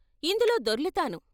ఇందులో దొర్లుతాను....